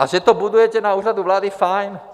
A že to budujete na Úřadu vlády, fajn.